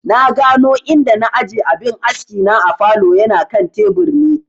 Na gano inda na aje abin askina a falow, yana kan tebur ne